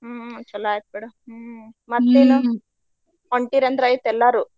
ಹ್ಮ್ ಚಲೋ ಆಯ್ತ್ ಬಿಡ್ ಹ್ಮ್ ? ಹೊಂಟೀರಿ ಅಂತ ಆಯ್ತ ಎಲ್ಲಾರು?